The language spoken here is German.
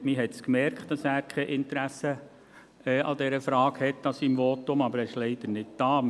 Man hat an seinem Votum gemerkt, dass er kein Interesse an dieser Frage hat, aber er ist leider nicht hier.